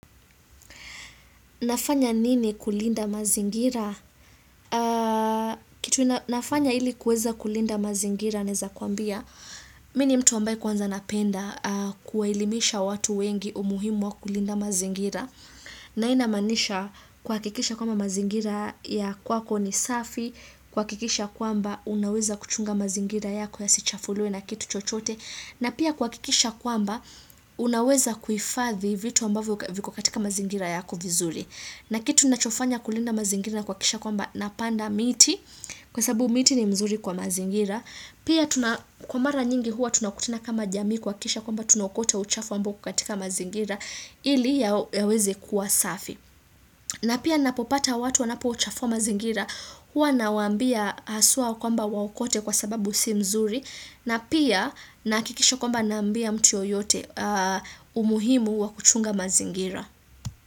Nafanya nini kulinda mazingira? Kitu nafanya ili kueza kulinda mazingira naeza kuambia. Mimi ni mtu ambaye kwanza napenda kuwaelimisha watu wengi umuhimu wa kulinda mazingira. Na hii inamaanisha kuhakikisha kwamba mazingira ya kwako ni safi. Kuhakikisha kwamba unaweza kuchunga mazingira yako yasichafuliwe na kitu chochote. Na pia kuhakikisha kwamba unaweza kuhifathi vitu ambavyo viko katika mazingira yako vizuri. Na kitu nachofanya kulinda mazingira ni kuhakikisha kwamba napanda miti kwa sababu miti ni mzuri kwa mazingira. Pia kwa mara nyingi huwa tunakutana kama jamii kuhakikisha kwamba tunaokota uchafu ambao uko katika mazingira ili yaweze kuwa safi. Na pia napopata watu wanapouchafua mazingira huwa nawaambia haswa kwamba waokote kwa sababu si mzuri na pia nahakikisha kwamba naambia mtu yoyote umuhimu wa kuchunga mazingira.